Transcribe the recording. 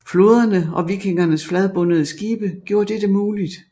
Floderne og vikingernes fladbundede skibe gjorde dette muligt